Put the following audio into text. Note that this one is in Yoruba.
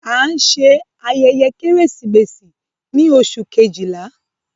A ń ṣe ayẹyẹ Keresimesi ni Oṣu kejila